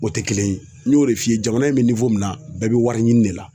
O tɛ kelen ye n y'o de f'i ye jamana in bɛ min na bɛɛ bɛ wariɲini de la.